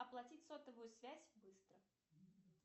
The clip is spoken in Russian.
оплатить сотовую связь быстро